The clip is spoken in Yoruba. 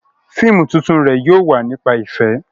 Fíìmù tuntun rẹ̀ yóò wà nípa ìfẹ́